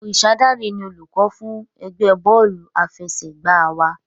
Orisadare ni olùkọ́ fún ẹgbẹ́ bọ́ọ̀lù àfẹsẹ̀gbá wa.